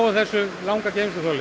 þessu langa geymsluþoli